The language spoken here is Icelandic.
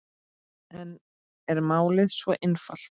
En er málið svo einfalt?